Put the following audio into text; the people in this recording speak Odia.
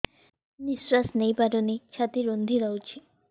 ନିଶ୍ୱାସ ନେଇପାରୁନି ଛାତି ରୁନ୍ଧି ଦଉଛି